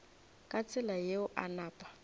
ka tsela yeo a napa